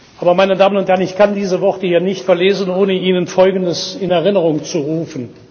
Aber, meine Damen und Herren, ich kann diese Worte hier nicht verlesen, ohne Ihnen Folgendes in Erinnerung zu rufen.